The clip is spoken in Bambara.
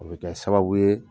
O be kɛ sababu ye